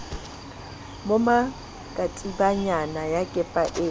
moma katibanyana ya kepa e